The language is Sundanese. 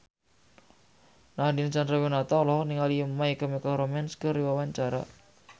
Nadine Chandrawinata olohok ningali My Chemical Romance keur diwawancara